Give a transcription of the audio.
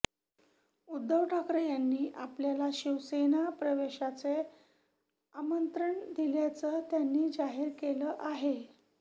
उद्धव ठाकरे यांनी आपल्याला शिवसेना प्रवेशाचे आमंत्रण दिल्याचं त्यांनी जाहीर केलं आहे